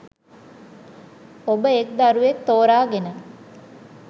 ඔබ එක් දරුවෙක් තෝරා ගෙන